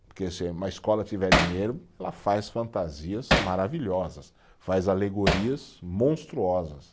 Porque se uma escola tiver dinheiro, ela faz fantasias maravilhosas, faz alegorias monstruosas.